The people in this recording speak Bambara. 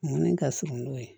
Munni ka surun n'o ye